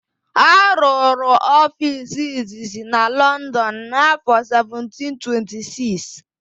A rụrụ ofiisi izizi na Lọndọn n'áfọ̀ 1726.